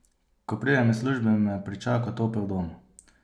Ko pridem iz službe, me pričaka topel dom.